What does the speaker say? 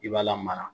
I b'a lamara